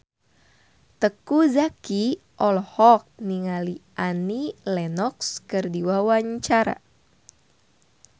Teuku Zacky olohok ningali Annie Lenox keur diwawancara